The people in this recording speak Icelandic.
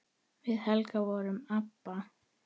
Við Helga vorum ABBA.